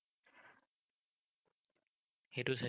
সেইটো চাইছো।